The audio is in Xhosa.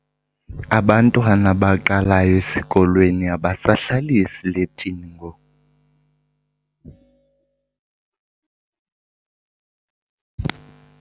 Abantwana abaqalayo esikolweni abasabhali esiletini ngoku.